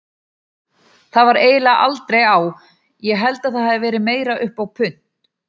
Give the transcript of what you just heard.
Það var eiginlega aldrei á, ég held það hafi verið meira upp á punt.